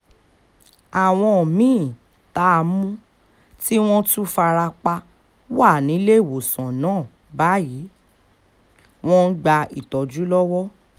àwọn mí-ín tá a mú tí wọ́n tún fara pa wà níléèwòsàn náà báyìí wọ́n ń gba ìtọ́jú lọ́wọ́